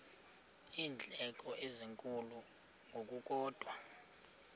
iindleko ezinkulu ngokukodwa